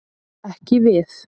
Ekki við.